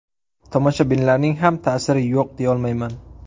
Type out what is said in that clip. Tomoshabinlarning ham ta’siri yo‘q deyolmayman.